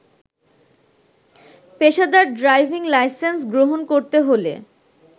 পেশাদার driving licence গ্রহণ করতে হলে